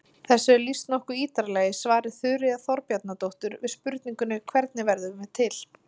Þessu er lýst nokkuð ítarlega í svari Þuríðar Þorbjarnardóttur við spurningunni Hvernig verðum við til?